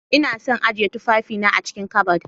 lna son ajiyan tufafi na a'cikin ƙabad.